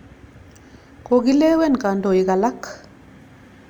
Kokilewen kandoik alak.